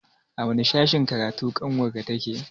A wani sashen karatu ƙanwar ka take?